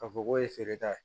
Ka fɔ k'o ye feereta ye